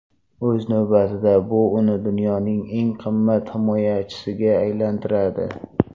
O‘z navbatida bu uni dunyoning eng qimmat himoyachisiga aylantiradi.